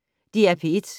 DR P1